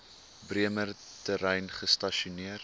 bremer terrein gestasioneer